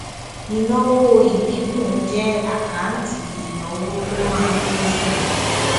ìnáwó ìdínkù jẹ àkáǹtì ìnáwó tó má ń lé síi